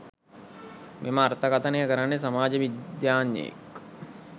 මෙම අර්ථකථනය කරන්නේ සමාජ විද්‍යාඥයෙක්